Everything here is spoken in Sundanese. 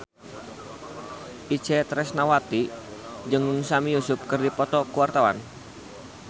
Itje Tresnawati jeung Sami Yusuf keur dipoto ku wartawan